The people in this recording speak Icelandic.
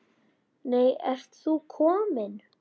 Nei, ert þú kominn?